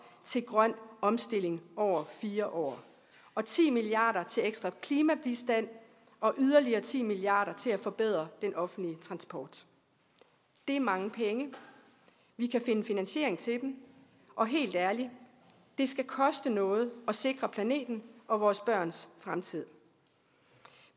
til grøn omstilling over fire år og ti milliard kroner til ekstra klimabistand og yderligere ti milliard kroner til at forbedre den offentlige transport det er mange penge vi kan finde finansiering til dem og helt ærligt det skal koste noget at sikre planeten og vores børns fremtid